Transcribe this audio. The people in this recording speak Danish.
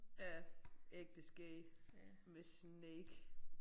Ja. Ægte skægt med snake